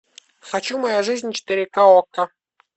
хочу моя жизнь четыре ка окко